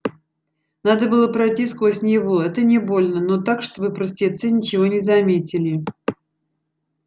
надо было пройти сквозь него это не больно но так чтобы простецы ничего не заметили